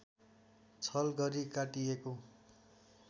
छल गरी काटिएको